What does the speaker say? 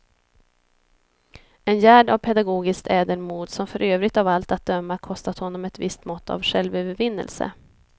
En gärd av pedagogiskt ädelmod som för övrigt av allt att döma kostat honom ett visst mått av självövervinnelse.